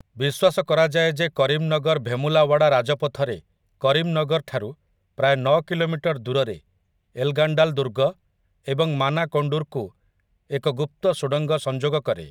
ବିଶ୍ୱାସ କରାଯାଏ ଯେ କରିମ୍‌ନଗର ଭେମୁଲାୱାଡ଼ା ରାଜପଥରେ କରିମ୍‌ନଗରଠାରୁ ପ୍ରାୟ ନଅ କିଲୋମିଟର ଦୂରରେ ଏଲ୍‌ଗାଣ୍ଡାଲ୍ ଦୁର୍ଗ ଏବଂ ମାନାକୋଣ୍ଡୁର୍‌କୁ ଏକ ଗୁପ୍ତ ସୁଡ଼ଙ୍ଗ ସଂଯୋଗ କରେ ।